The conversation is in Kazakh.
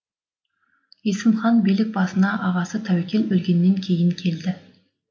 есім хан билік басына ағасы тәуекел өлгеннен кейін келді